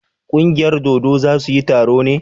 ƙungiyar dodo za su yi taro ne?